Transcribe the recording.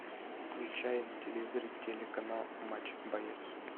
включай на телевизоре телеканал матч боец